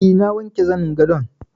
E, na wanke zanin gadon.